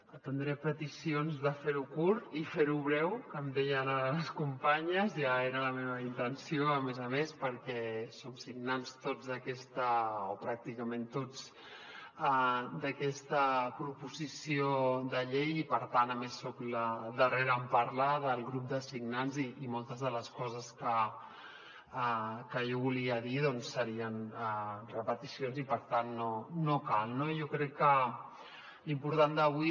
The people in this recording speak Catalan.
atendré peticions de fer ho curt i fer ho breu que em deien ara les companyes ja era la meva intenció a més a més perquè som signants tots o pràcticament tots d’aquesta proposició de llei i per tant a més soc la darrera en parlar del grup de signants i moltes de les coses que jo volia dir doncs serien repeticions i per tant no cal no jo crec que l’important d’avui